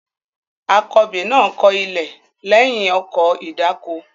Akọbè náà kọ ilẹ̀ lẹ́yìn ọkọ̀ ìdáko.